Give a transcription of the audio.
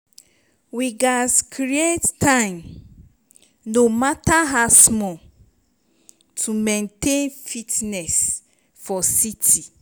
we gats create time no matter how small to maintain fitness for city.